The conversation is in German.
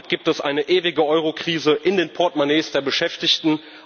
Damit gibt es eine ewige Eurokrise in den Portemonnaies der Beschäftigten.